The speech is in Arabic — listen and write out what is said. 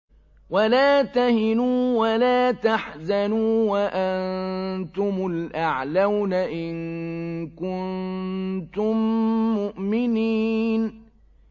وَلَا تَهِنُوا وَلَا تَحْزَنُوا وَأَنتُمُ الْأَعْلَوْنَ إِن كُنتُم مُّؤْمِنِينَ